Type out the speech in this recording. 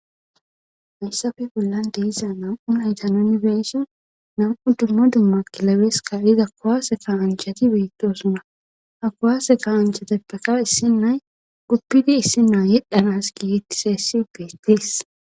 hayssafe bollan de'iza nam7u naytan unibeso nam7u dumma dumma kilabeska iza kowaase ka anjhati beettosuna ha kowaase ka anjhateppeka issin nay guppidi issinaa yedhanas gietti seessi bestis